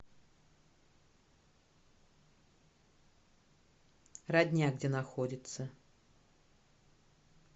родня где находится